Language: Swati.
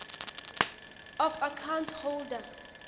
of account holder